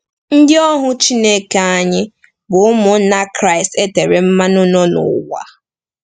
“Ndị ohu Chineke anyị” bụ ụmụnna Kraịst e tere mmanụ nọ n’ụwa.